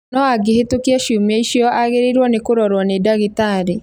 no angĩhitũkia ciumia icio, agĩrĩirũo nĩ kũrorwo nĩ ndagĩtarĩ.